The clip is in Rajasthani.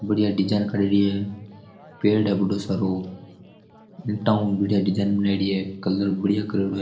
बढ़िया डिजाइन करियोडी है पेड़ है बढ़ो सारो हेटाऊ बढ़िया डिजाइन बनायोडी है कलर बढ़िया करियोडो है।